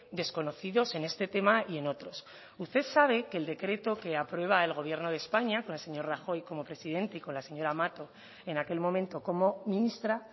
desconocidos en este tema y en otros usted sabe que el decreto que aprueba el gobierno de españa con el señor rajoy como presidente y con la señora mato en aquel momento como ministra